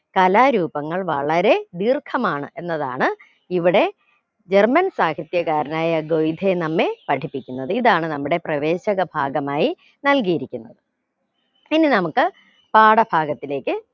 കലാരൂപങ്ങൾ വളരെ ദീർഘമാണ് എന്നതാണ് ഇവിടെ german സാഹിത്യകാരനായ ഗോയിഥെ നമ്മെ പഠിപ്പിക്കുന്നത് ഇതാണ് നമ്മുടെ പ്രവേശക ഭാഗമായി നൽകിയിരിക്കുന്നത് പിന്നെ നമുക്ക് പാഠഭാഗത്തിലേക്ക്